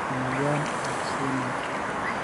emoyian e Alzheimers,